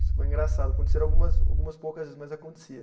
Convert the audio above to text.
Isso foi engraçado, aconteceram algumas algumas poucas vezes, mas acontecia.